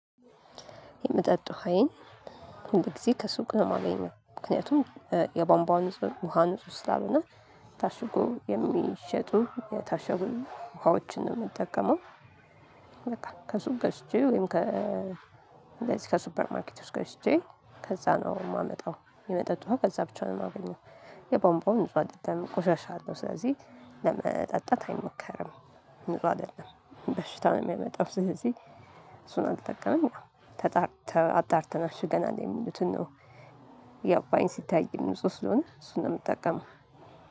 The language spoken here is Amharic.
የመጠጥ ውሃዬን ሁል ጊዜ ከሱቅ ነው የማገኘው ምክንያቱም የባንባው ንጹህ ውሃ ንጹህ ስላልሆነ ታሽጎ የሚሸጡ የታሸጉ ውሃዎችን ነው የምጠቀመው። ከሱቅ ገዝቼ ወይም ከ እንደዚህ ከሱፐር ማርኬጥ ውስጥ ገዝቼ ከዛ ነው የማመጣው። የመጠጥ ውሃ ከዛ ብቻ ነው የማገኘው። የቧንቧው ንጹህ አይደለም ቆሻሻ አለው ስለዚህ ለመጠጣት አይሞከርም። ጥሩ አይደለም በሽታ ነው የሚያመጣው። ስለዚህ እሱን አልጠቀምም። ተጣርተህ አጣርተን አሽገናል የሚሉትን ነው። ያው ባይን ሲታይ ንጽው ስለሆነ እሱን ነው የምጠቀመው።